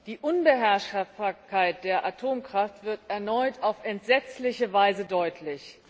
Die Unbeherrschbarkeit der Atomkraft wird erneut auf entsetzliche Weise deutlich.